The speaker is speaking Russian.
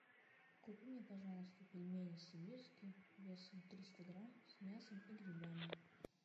купи мне пожалуйста пельмени сибирские весом триста грамм с мясом и грибами